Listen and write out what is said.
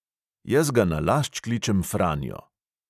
Jaz ga nalašč kličem franjo.